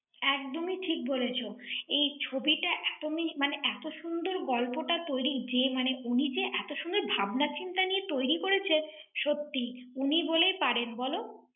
একদমই ঠিক বলেছো ৷ এই ছবিটা এত মিস~ মানে, এত সুন্দর গল্পটা তৈরি, যে মানে উনি যে এত সুন্দর ভাবনা চিন্তা নিয়ে তৈরি করেছে৷ সত্যি, উনি বলে পারেন বলো?